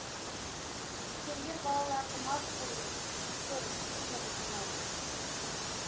үлкендер балаларды мас қылу үшін қызық көріп қымыз ұсынатын